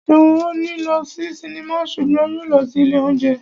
Ṣeun ò ní lọ sí sinimá ṣùgbọ́n yóò lọ sí ilé óúnjẹ